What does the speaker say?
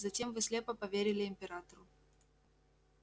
затем вы слепо поверили императору